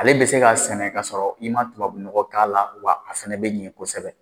Ale bɛ se ka sɛnɛ ka sɔrɔ i ma tubabunɔgɔ k'a la wa a fana bɛ ɲɛ kosɛbɛ